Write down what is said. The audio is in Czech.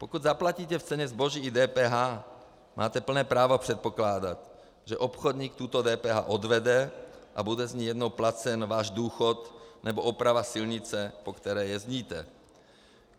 Pokud zaplatíte v ceně zboží i DPH, máte plné právo předpokládat, že obchodník tuto DPH odvede a bude z ní jednou placen váš důchod nebo oprava silnice, po které jezdíte.